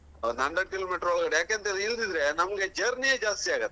Hundred kilometer ಒಳ್ಗಡೆ ಯಾಕಂದ್ರೆ ಇಳ್ದಿದ್ರೆ ನಮ್ಗೆ journey ಯೇ ಜಾಸ್ತಿಯಾಗುತ್ತೆ.